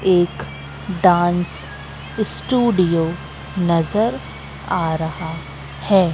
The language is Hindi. एक डांस स्टूडियो नजर आ रहा है।